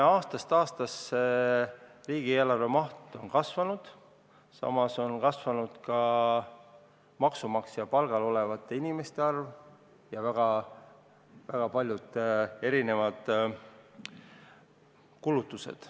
Aastast aastasse on riigieelarve maht kasvanud, samas on kasvanud ka maksumaksja palgal olevate inimeste arv ja väga paljud erinevad kulutused.